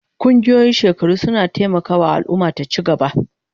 Ƙungiyoyin shekaru suna taimaka wa al'umma ta ci gaba.